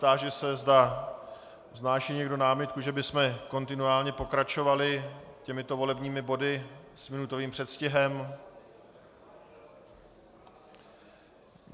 Táži se, zda vznáší někdo námitku, že bychom kontinuálně pokračovali těmito volebními body s minutovým předstihem?